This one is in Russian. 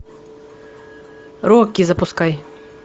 рокки запускай